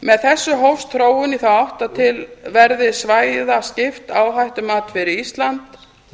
með þessu hófst þróun í þá átt að til verði svæðaskipt áhættumat fyrir ísland